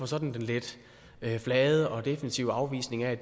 sådan lidt flade og defensive afvisning af